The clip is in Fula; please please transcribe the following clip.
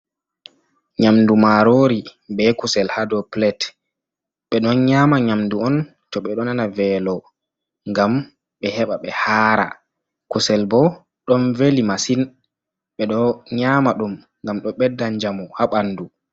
nyamndu maaroori be kusel, haa do pilet, ɓe ɗon nyaama nyamndu on, to ɓe ɗo nana veelo ngam ɓe heɓa ɓe haara, kusel bo ɗon veli masin, ɓe ɗo nyaama ɗum ngam ɗo ɓedda njamu haa ɓanndu.